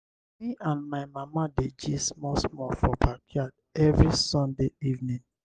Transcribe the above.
me and my mama dey gist small small for backyard every sunday evening.